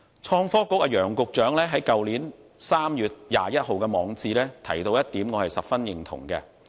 創新及科技局局長楊偉雄在去年3月21日的網誌提到一點，我十分認同。